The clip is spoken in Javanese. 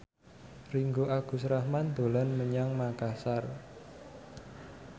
Ringgo Agus Rahman dolan menyang Makasar